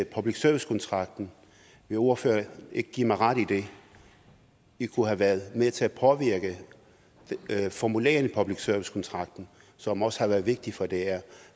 public service kontrakten vil ordføreren ikke give mig ret i det vi kunne have været med til at påvirke formuleringen af public service kontrakten som også er vigtig for dr